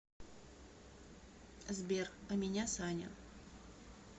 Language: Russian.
сбер а меня саня